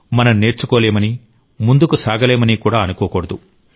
మనం నేర్చుకోలేమని ముందుకు సాగలేమని కూడా అనుకోకూడదు